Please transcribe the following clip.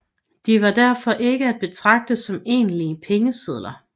De var derfor ikke at betragte som egentlige pengesedler